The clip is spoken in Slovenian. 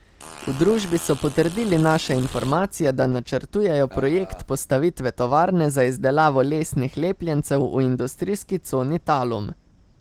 V družbi so potrdili naše informacije, da načrtujejo projekt postavitve tovarne za izdelavo lesnih lepljencev v industrijski coni Talum.